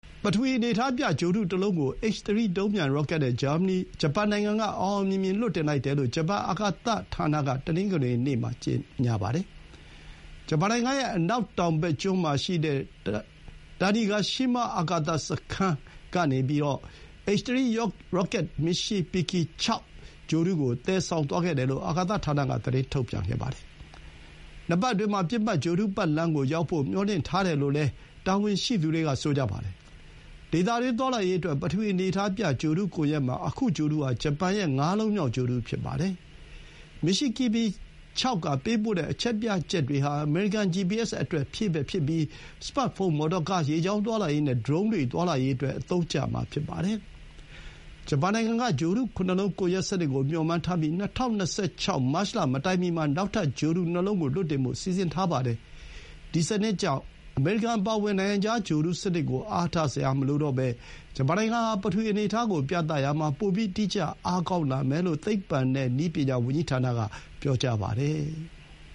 ပထဝီ အနေအထားပြ ဂြိုဟ်တုတလုံးကို H3 ဒုံးပျံ ရောကက်နဲ့ ဂျပန်နိုင်ငံက အောင်အောင်မြင်မြင် လွှတ်တင်လိုက်တယ်လို့ ဂျပန် အာကာသဌာနက တနင်္ဂနွေနေ့မှာ ပြောပါတယ်။ ဂျပန်နိုင်ငံရဲ့ အနောက်တောင်ဘက်ကျွန်းမှာရှိတဲ့ တာနီဂါရှီးမား အာကာသစခန်း (Tanegashima Space Center) ကနေ H3 ရောကက်က မီရှီဘီကီ ၆ (Michibiki 6) ဂြိုဟ်တုကို သယ်ဆောင်သွားခဲ့တယ်လို့ အာကာသဌာနက သတင်းထုတ်ပြန်ပါတယ်။ ၂ ပတ်အတွင်းမှာ ပစ်မှတ် ဂြိုဟ်တုပတ်လမ်းကိုရောက်ဖို့ မျှော်လင့်ထားတယ်လို့ တာဝန်ရှိသူတွေက ပြောပါတယ်။ ဒေသတွင်း သွားလာရေးအတွက် ပထဝီအနေအထားပြ ဂြိုဟ်တုကွန်ယက်မှာ ခု ဂြိုဟ်တုဟာ ဂျပန်ရဲ့ ငါးလုံးမြောက်ဂြိုဟ်တု ဖြစ်ပါတယ်။ မီရှီဘီကီ ၆ က ပေးပို့တဲ့ အချက်ပြချက်တွေဟာ အမေရိကန် ဂျီပီအက်စ်အတွက် ဖြည့်ဘက်ဖြစ်ပြီး စမတ်ဖုန်း၊ မော်တော်ကား၊ ရေကြောင်းသွားလာရေးနဲ့ ဒရုန်းတွေ သွားလာရေးအတွက် အသုံးကျမှာ ဖြစ်ပါတယ်။ ဂျပန်နိုင်ငံက ဂြိုဟ်တု ၇ လုံး ကွန်ယက်စနစ်ကို မျှော်မှန်းထားပြီး ၂၀၂၆ မတ်လမတိုင်မီမှာ နောက်ထပ် ဂြိုဟ်တုနှစ်လုံးကို လွှတ်တင်ဖို့ စီစဥ်ထားပါတယ်။ ဒီစနစ်ကြောင့် အမေရိကန်အပါအဝင် နိုင်ငံခြား ဂြိုဟ်တုစနစ်ကို အားထားစရာမလိုတော့ဘဲ ဂျပန်နိုင်ငံဟာ ပထဝီအနေအထားကို ပြရာမှာ ပိုပြီး တိကျအားကောင်းလာမယ်လို့ သိပ္ပံနဲ့ နည်းပညာ ဝန်ကြီးဌာနက ပြောပါတယ်။